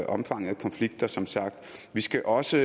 omfanget af konflikter som sagt vi skal også